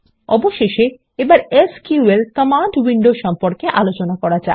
অবশেষে এবার SQL command window সম্পর্কে আলোচনা করা যাক